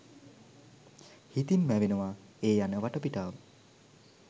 හිතින් මැවෙනවා ඒ යන වටපිටාව